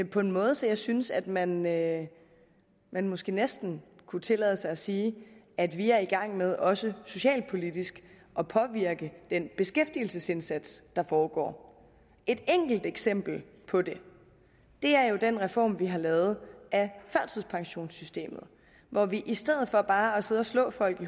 på en måde så jeg synes at man at man måske næsten kunne tillade sig at sige at vi er i gang med også socialpolitisk at påvirke den beskæftigelsesindsats der foregår et enkelt eksempel på det er jo den reform vi har lavet af førtidspensionssystemet hvor vi i stedet for bare at sidde og slå folk